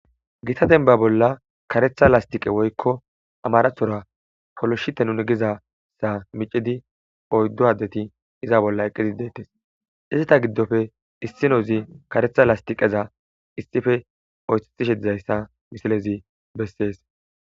gita denba bolla karetha lastiqe woykko amharathora poloshite nuni gizassa micidi oyddo addeti iza bolla eqizi dettes izita giddofe issinozi karetha lastiqeza issife oyxexishe dizayssa misilezi bessees